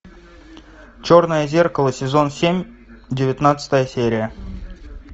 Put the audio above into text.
черное зеркало сезон семь девятнадцатая серия